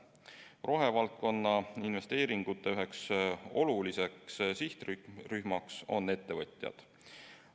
Rohevaldkonna investeeringute üheks oluliseks sihtrühmaks on ettevõtjad.